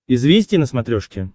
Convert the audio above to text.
известия на смотрешке